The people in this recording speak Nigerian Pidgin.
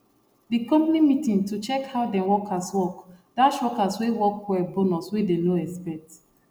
the company meeting to check how dem workers workdash workers wey work well bonus wey dey no expect